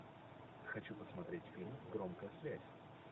хочу посмотреть фильм громкая связь